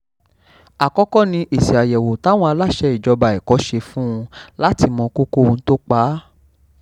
àkọ́kọ́ ni èsì àyẹ̀wò táwọn aláṣẹ ìjọba ẹ̀kọ́ ṣe fún un láti mọ kókó ohun tó pa á